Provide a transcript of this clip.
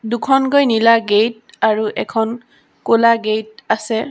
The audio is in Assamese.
দুখনকৈ নীলা গেইট আৰু এখন ক'লা গেইট আছে।